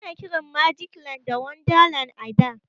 Ana kiran magic land da wonderland a da.